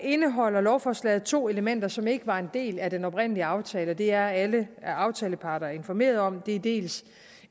indeholder lovforslaget to elementer som ikke var en del af den oprindelige aftale og det er alle aftaleparter informeret om det er dels